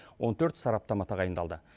он төрт сараптама тағайындалды